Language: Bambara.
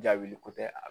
Jaabi ko tɛ a